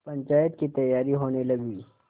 पंचायत की तैयारियाँ होने लगीं